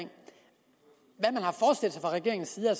regeringens side har